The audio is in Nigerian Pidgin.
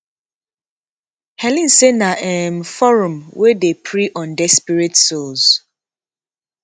helen say na um forum wey dey prey on desperate souls